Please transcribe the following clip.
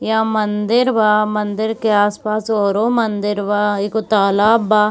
यहां मंदिर बा मंदिर के आस-पास औरों मंदिर बा एगो तालाब बा।